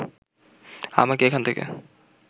আমাকে এখান থেকে